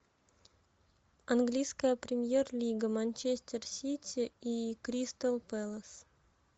английская премьер лига манчестер сити и кристал пэлас